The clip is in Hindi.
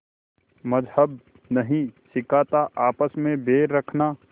मज़्हब नहीं सिखाता आपस में बैर रखना